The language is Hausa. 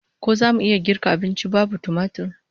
Ko zamu iya girka abunci babu tumatir?